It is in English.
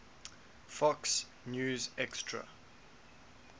fox news extra